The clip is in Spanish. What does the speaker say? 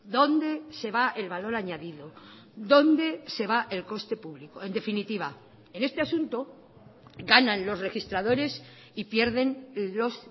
dónde se va el valor añadido dónde se va el coste público en definitiva en este asunto ganan los registradores y pierden los